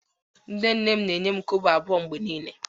Nne nne m na-enye m kobo abuo mgbe niile